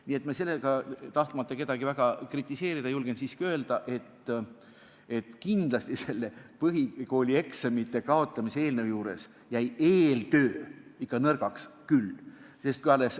Nii et tahtmata kedagi väga kritiseerida, ma julgen siiski öelda, et selle põhikoolieksamite kaotamise eelnõu eeltöö jäi ikka nõrgaks küll.